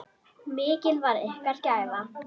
Mikil var ykkar gæfa.